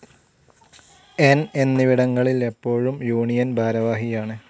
ന്‌ എന്നിവിടങ്ങളിൽ എപ്പോഴും യൂണിയൻ ഭാരവാഹിയാണ്.